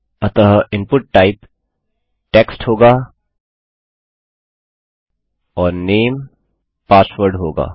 अतः input type text होगा और नामे पासवर्ड होगा